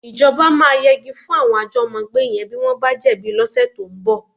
Ìjọba máa yegi fún àwọn àjọ́mọ́gbé yẹn bí wọ́n bá jẹ̀bi lọ́sẹ̀ tó ń bọ̀.